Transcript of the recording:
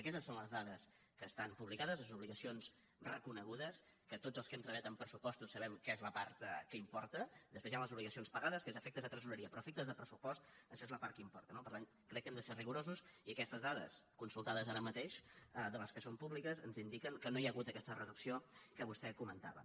aquestes són les dades que estan publicades les obligacions reconegudes que tots els que hem treba·llat en pressupostos sabem que és la part que importa després hi han les obligacions pagades que és a efec·tes de tresoreria però a efectes de pressupost això és la part que importa no per tant crec que hem de ser rigorosos i aquestes dades consultades ara mateix de les que són públiques ens indiquen que no hi ha hagut aquesta reducció que vostè comentava